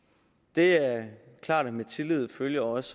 det er klart at med tillid følger også